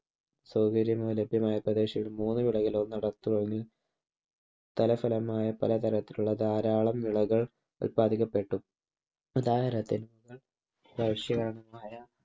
സൗകര്യമോ ലഭ്യമായ പ്രദേശത്തു മൂന്നു വിളകളിൽ ഫലമായ പല തരത്തിലുള്ള ധാരാളം വിളകൾ ഉല്പാദിപ്പിക്കപ്പെട്ടു.